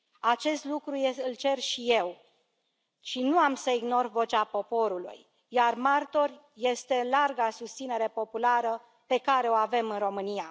Acest lucru îl cer și eu, și nu am să ignor vocea poporului, iar martoră este larga susținere populară pe care o avem în România.